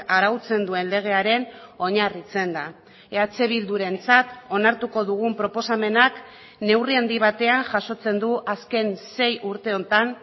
arautzen duen legearen oinarritzen da eh bildurentzat onartuko dugun proposamenak neurri handi batean jasotzen du azken sei urte honetan